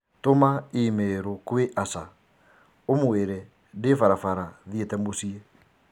Tũma i-mīrū kwĩ Asha ũmũĩre ndĩ barabara thiĩte mũciĩ.